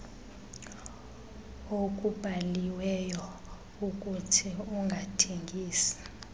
okubhaliweyo ukuthi ungathengisi